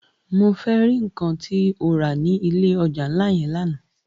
Mó fè ri nkán tó rá ni ilé òjá nlá yèn làná